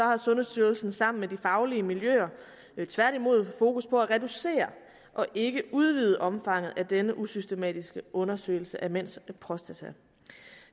har sundhedsstyrelsen sammen med de faglige miljøer tværtimod fokus på at reducere og ikke udvide omfanget af denne usystematiske undersøgelse af mænds prostata